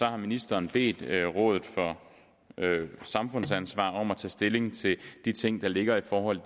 har ministeren bedt rådet for samfundsansvar om at tage stilling til de ting der ligger i forhold